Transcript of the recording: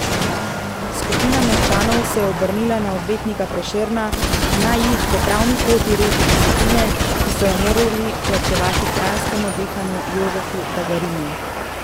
Skupina meščanov se je obrnila na odvetnika Prešerna naj jih po pravni poti reši desetine, ki so jo morali plačevati kranjskemu dekanu Jožefu Dagarinu.